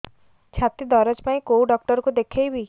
ଛାତି ଦରଜ ପାଇଁ କୋଉ ଡକ୍ଟର କୁ ଦେଖେଇବି